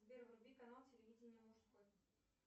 сбер вруби канал телевидения мужской